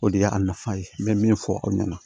O de y'a nafa ye n bɛ min fɔ aw ɲɛna